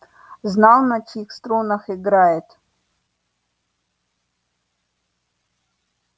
знал на чьих струнах играет